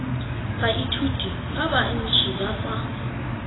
baithuti ba banetshi ba tsa